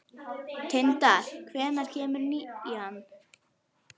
Tindar, hvenær kemur nían?